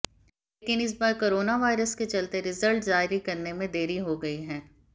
लेकिन इस बार कोरोवायरस के चलते रिजल्ट जारी करने में देरी हो गई है